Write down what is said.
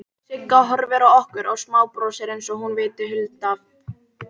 Sigga horfir á okkur og smábrosir einsog hún viti hulda dóma.